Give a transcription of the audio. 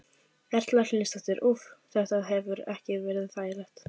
Erla Hlynsdóttir: Úff, þetta hefur ekki verið þægilegt?